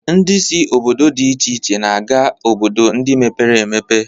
Ndị si obodo dị iche iche na-aga obodo ndị mepere emepe